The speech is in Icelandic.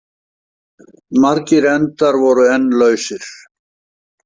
Margir endar voru enn lausir.